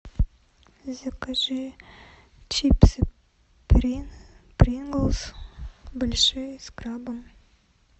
закажи чипсы принглс большие с крабом